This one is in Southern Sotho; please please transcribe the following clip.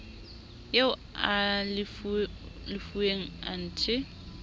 eo a e lefuweng anthe